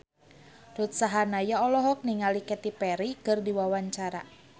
Ruth Sahanaya olohok ningali Katy Perry keur diwawancara